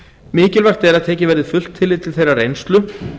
mikilvægt er að tekið verði fullt tillit til þeirrar reynslu